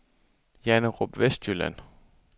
Janderup Vestjylland